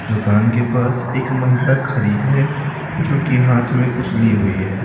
दुकान के पास एक महिला खड़ी है जो कि हाथ में कुछ ली हुई है।